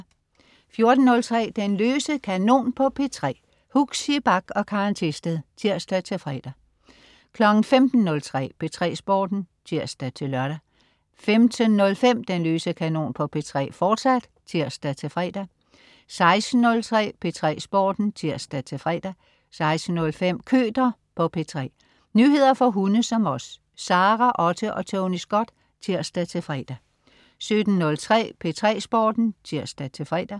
14.03 Den løse kanon på P3. Huxi Bach og Karen Thisted. (tirs-fre) 15.03 P3 Sporten (tirs-lør) 15.05 Den løse kanon på P3, fortsat (tirs-fre) 16.03 P3 Sporten (tirs-fre) 16.05 Køter på P3. Nyheder for hunde som os. Sara Otte og Tony Scott (tirs-fre) 17.03 P3 Sporten (tirs-fre)